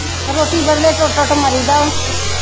ਰੋਟੀ ਬਦਲੇ ਟੁੱਟ ਟੁੱਟ ਮਰੀਦਾ ਵਾ